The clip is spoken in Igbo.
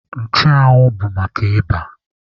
Nchụanwụ bụ maka ịba.